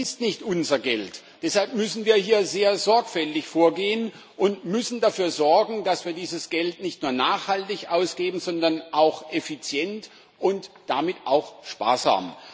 Das ist nicht unser Geld, deshalb müssen wir hier sehr sorgfältig vorgehen und dafür sorgen, dass wir dieses Geld nicht nur nachhaltig ausgeben, sondern auch effizient und damit auch sparsam.